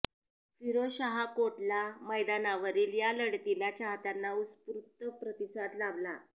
फिरोजशाह कोटला मैदानावरील या लढतीला चाहत्यांचा उत्स्फूर्त प्रतिसाद लाभला